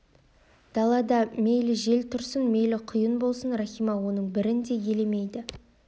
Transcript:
далада мейлі жел тұрсын мейлі құйын болсын рахима оның бірін де елемейді